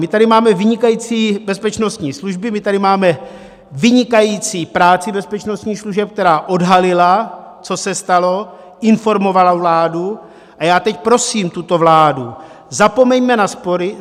My tady máme vynikající bezpečnostní služby, my tady máme vynikající práci bezpečnostních služeb, která odhalila, co se stalo, informovala vládu a já teď prosím tuto vládu: Zapomeňme na spory!